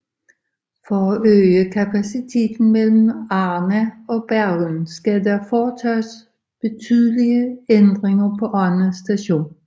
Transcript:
For at øge kapaciteten mellem Arna og Bergen skal der foretages betydelige ændringer på Arna station